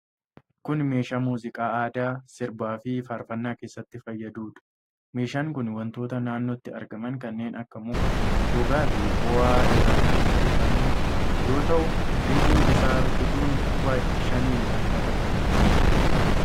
Kun meeshaa muuziqaa aadaa sirbaafi faarfannaa keessatti fayyaduudha. Meeshaan kun wantoota naannootti argaman kanneen akka muka, gogaafi fo'aa irraa kan hojjetamu yoo ta'u, ribuu isaa rukutuun quba shaniin kan taphatamuudha.